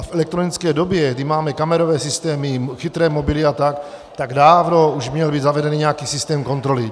A v elektronické době, kdy máme kamerové systémy, chytré mobily a tak, tak dávno už měl být zavedený nějaký systém kontroly.